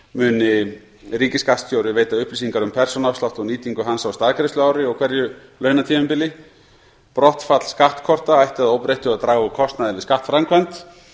muni ríkisskattstjóri veita upplýsingar um persónuafslátt og nýtingu hans á staðgreiðsluári og hverju launatímabili brottfall skattkorta ætti að óbreyttu að draga úr kostnaði við skattframkvæmd